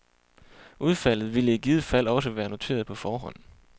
Udfaldet ville i givet fald også være noteret på forhånd.